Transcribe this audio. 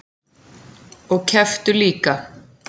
Og kepptu líka.